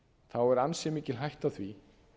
forseti er ansi mikil hætta á því